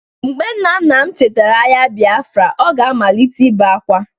mgbe nna nna m chetara agha Biafra, o ga-amalite ibe akwa